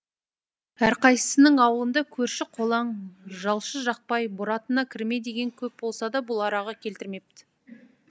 әрқайсысының аулында көрші қолаң жалшы жақпай бұратана кірме деген көп болса да бұл араға келтірмепті